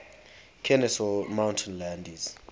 kenesaw mountain landis